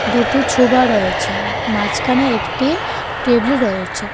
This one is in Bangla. দুটো ছোবা রয়েছেন মাঝখানে একটি টেবলি রয়েছে .